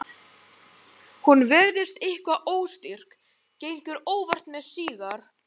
Hún virðist eitthvað óstyrk, gengur óvart með sígar